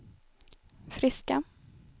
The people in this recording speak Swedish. friska